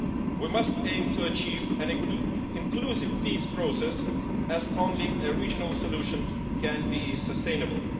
We must aim to achieve an inclusive peace process, as only a regional solution can be sustainable.